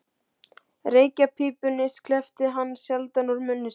Reykjarpípunni sleppti hann sjaldan úr munni sér.